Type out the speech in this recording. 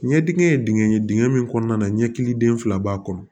Ɲɛdingɛn ye dingɛ ye dingɛ min kɔnɔna na ɲɛkili den fila b'a kɔnɔ